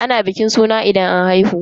Ana bikin suna idan an haihu.